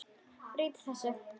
Breyti þessu.